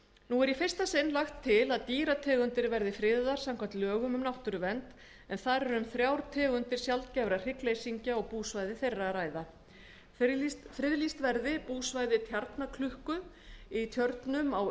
nú er í fyrsta sinn lagt til að dýrategundir verði friðaðar samkvæmt lögum um náttúruvernd en þar er um þrjár tegundir sjaldgæfra hryggleysingja og búsvæði þeirra friðlýst verða búsvæði tjarnaklukku í tjörnum á